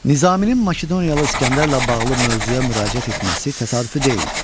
Nizaminin Makedoniyalı İsgəndərlə bağlı mövzuya müraciət etməsi təsadüfi deyildi.